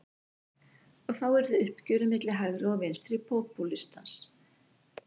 Og þá yrði uppgjörið milli hægri og vinstri popúlistans.